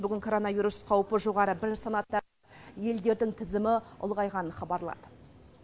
бүгін коронавирус қаупі жоғары бірінші санаттағы елдердің тізімін ұлғайғанын хабарлады